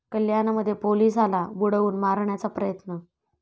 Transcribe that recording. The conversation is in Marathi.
कल्याणमध्ये पोलिसाला बुडवून मारण्याचा प्रयत्न